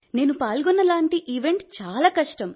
నేను పాల్గొన్న లాంటి ఈవెంట్ చాలా కష్టం